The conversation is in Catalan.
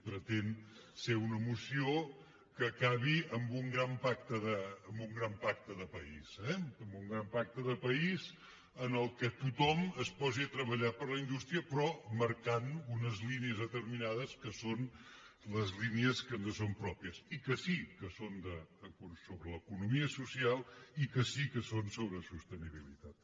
pretén ser una moció que acabi amb un gran pacte de país eh amb un gran pacte de país en què tothom es posi a treballar per la indústria però marcant unes línies determinades que són les línies que ens són pròpies i que sí que són sobre l’economia social i que sí que són sobre sostenibilitat